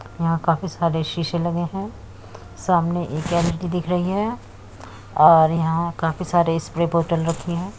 यहाँ काफी सारे शीशे लगे हैं। सामने एक एलईडी दिख रही हैं और यहाँ पर काफी सारे स्प्रे बोतल रखी हैं।